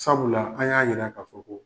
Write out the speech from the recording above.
Sabula an y'a jira k'a fɔ ko